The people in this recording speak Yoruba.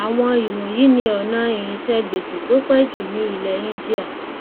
àwọn íwọnyìí ni ọnà irinṣẹ gbèsè tó pẹ jù ní ilẹ índíà